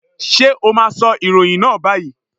Sé o má a sọ ìròyìn náà báyìí?